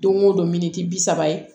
Don o don miniti bi saba ye